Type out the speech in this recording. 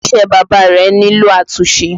Ilé iṣẹ́ bàbá rẹ nílò àtúnṣe